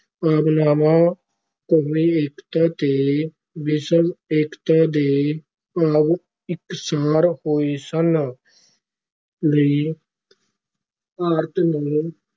ਭਾਵਨਾਵਾਂ, ਕੌਮੀ ਏਕਤਾ ਤੇ ਵਿਸ਼ਵ ਏਕਤਾ ਦੇ ਭਾਵ ਇਕਸਾਰ ਹੋਏ ਸਨ ਲਈ ਭਾਰਤ ਨੂੰ